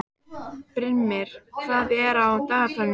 Brimir, hvað er á dagatalinu í dag?